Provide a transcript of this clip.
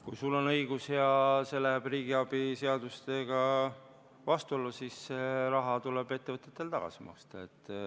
Kui sul on õigus ja see läheb riigiabi reeglitega vastuollu, siis see raha tuleb ettevõtetel tagasi maksta.